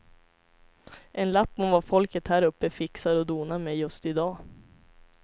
En lapp om vad folket häruppe fixar och donar med just i dag.